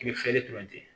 I bɛ